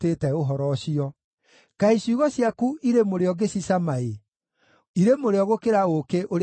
Kaĩ ciugo ciaku irĩ mũrĩo ngĩcicama-ĩ, irĩ mũrĩo gũkĩra ũũkĩ ũrĩ kanua-inĩ gakwa!